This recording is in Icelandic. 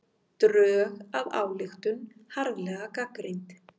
Drög að ályktun harðlega gagnrýnd